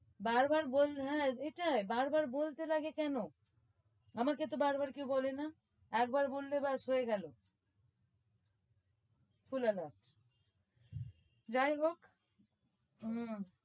বার বার বললে হ্যাঁ এটাই বার বার বলতে লাগে কেন আমাকে তো বার বার কেউ বলে না একবার বলল ব্যাস হয়ে গেলো শোনে না যাই হোক।